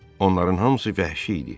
Onların hamısı vəhşi idi.